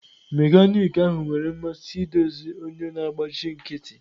Mekaniki ahụ nwere mmasị idozi onye na-agbachi nkịtị.